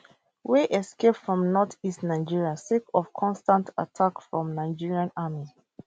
wey escape from north east nigeria sake of constant attack from nigerian army